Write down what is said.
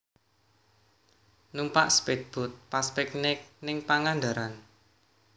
Numpak spead boat pas piknik ning Pangandaran